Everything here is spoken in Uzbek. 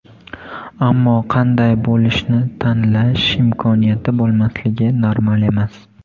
Ammo qanday bo‘lishni tanlash imkoniyati bo‘lmasligi normal emas.